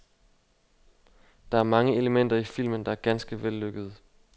Der er mange elementer i filmen, der er ganske vellykkede.